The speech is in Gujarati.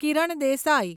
કિરણ દેસાઈ